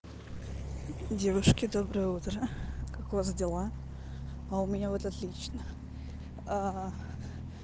девушки доброе утро как у вас дела а у меня вот отлично